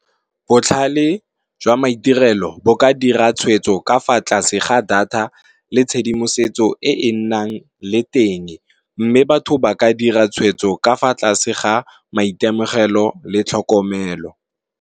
Botlhale jwa maitirelo bo ka dira tshwetso ka fa tlase ga data le tshedimosetso e e nnang le teng, mme batho ba ka dira tshwetso ka fa tlase ga maitemogelo le tlhokomelo.